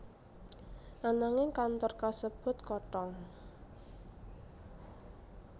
Ananging kantor kasebut kothong